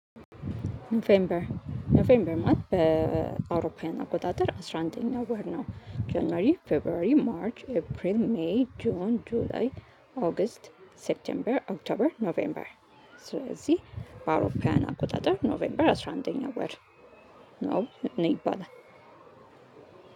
ኖቬምበር ማለት አውሮፖዊያን ዘመን አቆጣጠር አስራ አንደኛው ወር ነው። ጃንዋሪ ፌቭርዋሪ ማርች ኤፕሪል ሜይ ጁን ጁላይ ኦገስት ሴብተምበር ኦክቶበር ኖቬምበር። ስለዚህ በአውሮፓውያን አቆጣጠር ኖቬምበር አስራ አንደኛው ወር ነው። እኔ ይባላል።